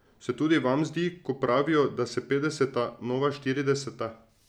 Se tudi vam zdi, ko pravijo, da so petdeseta nova štirideseta?